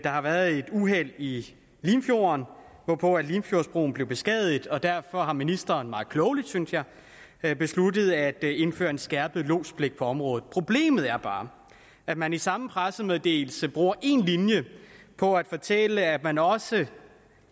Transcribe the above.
har været et uheld i limfjorden hvor limfjordsbroen blev beskadiget og derfor har ministeren meget klogt synes jeg jeg besluttet at indføre en skærpet lodspligt i området problemet er bare at man i samme pressemeddelelse bruger én linje på at fortælle at man også